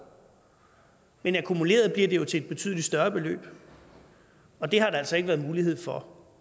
men akkumuleret bliver det jo til et betydelig større beløb og det har der altså ikke været mulighed for